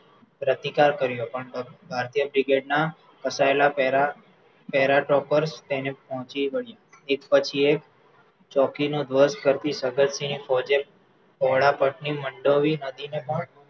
પ્રતિકાર કર્યો પણ ભારતીય brigad ના ફસાયેલા para para toppers તેને પોહચી વળ્યાં એક પછી એક ચોકીનો ધવજ ફરથી જગતસિંહએ પોહળા પટ ની મંડોવી નદીને પણ